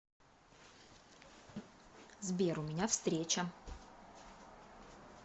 сбер у меня встреча